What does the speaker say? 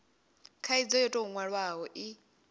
khaidzo yo tou nwalwaho i